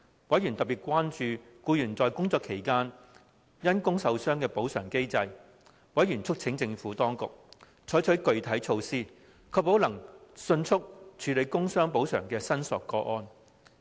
委員特別關注就僱員在工作期間因工受傷的補償機制。委員促請政府當局採取具體措施，確保能迅速處理工傷補償的申索個案。